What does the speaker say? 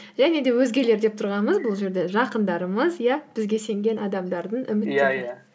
және де өзгелер деп тұрғанымыз бұл жерде жақындарымыз иә бізге сенген адамдардың